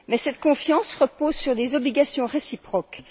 Mais cette confiance repose sur des obligations réciproques.